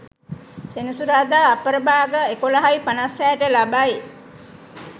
සෙනසුරාදා අපරභාග 11.56 ට ලබයි.